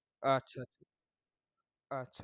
আচ্ছা, আচ্ছা।